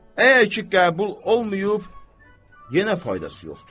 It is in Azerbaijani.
Əgər ki, qəbul olmayıb, yenə faydası yoxdur.